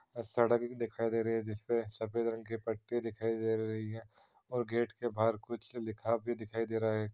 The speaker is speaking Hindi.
और सड़क भी दिखाई दे रही है जिसपे सफ़ेद रंग की पट्टी दिखाई दे रही है और गेट के बाहर कुछ लिखा भी दिखाई दे रहा है।